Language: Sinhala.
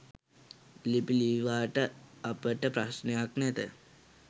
ලිපි ලීවාට අපට ප්‍රශ්නයක් නැත.